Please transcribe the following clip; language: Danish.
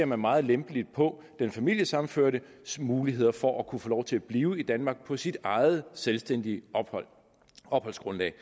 man meget lempeligt på den familiesammenførtes muligheder for at kunne få lov til at blive i danmark på sit eget selvstændige opholdsgrundlag